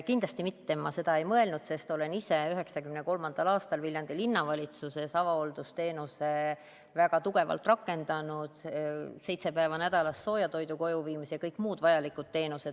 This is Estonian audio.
Kindlasti ma seda ei mõelnud, sest olen ise 1993. aastal Viljandi Linnavalitsuses avahooldusteenust väga tugevalt rakendanud – seitse päeva nädalas sooja toidu kojuviimise ja kõik muud vajalikud teenused.